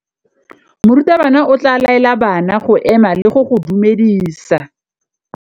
Morutabana o tla laela bana go ema le go go dumedisa.